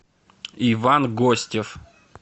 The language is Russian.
иван гостев